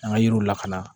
An ka yiriw lakana